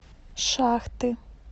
шахты